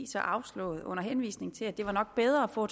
så afslået under henvisning til at det nok var bedre at få